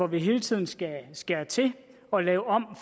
vi hele tiden skal skære til og lave om